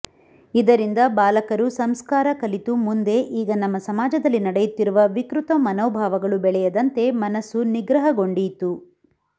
ಇದರಿಂದ ಬಾಲಕರು ಸಂಸ್ಕಾರ ಕಲಿತು ಮುಂದೆ ಈಗ ನಮ್ಮ ಸಮಾಜದಲ್ಲಿ ನಡೆಯುತ್ತಿರುವ ವಿಕೃತ ಮನೋಭಾವಗಳು ಬೆಳೆಯದಂತೆ ಮನಸ್ಸು ನಿಗ್ರಹಗೊಂಡೀತು